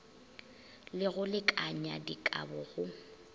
le go lekanya dikabo go